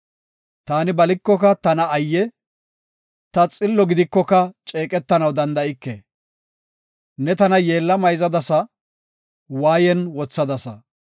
Taani balikoka tana ayye! Ta xillo gidikoka ceeqetanaw danda7ike. Ne tana yeella mayzadasa; waayen wothadasa.